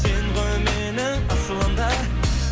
сен ғой менің асылым да